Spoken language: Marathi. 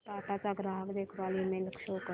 टाटा चा ग्राहक देखभाल ईमेल शो कर